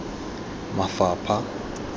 mafapha